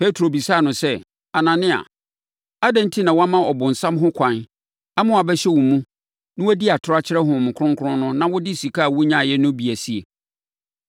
Petro bisaa no sɛ, “Anania, adɛn enti na woama ɔbonsam ho kwan ama wabɛhyɛ wo mu na woadi atorɔ akyerɛ Honhom Kronkron no na wode sika a wonyaeɛ no bi asie?